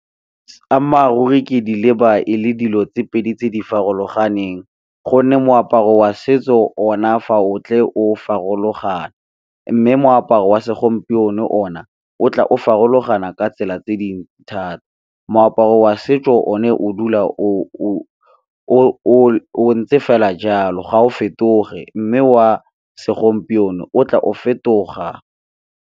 Ammaruri ke di leba e le dilo tse pedi tse di farologaneng gonne moaparo wa setso ona fa o tle o farologana, mme moaparo wa segompieno o na o tla o farologana ka tsela tse dintsi thata. Moaparo wa setso o ne o dula o ntse fela jalo ga o fetoge, mme wa segompieno o tla o fetoga.